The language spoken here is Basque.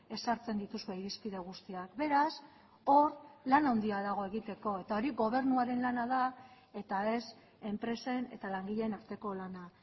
ezartzen dituzue irizpide guztiak beraz hor lan handia dago egiteko eta hori gobernuaren lana da eta ez enpresen eta langileen arteko lana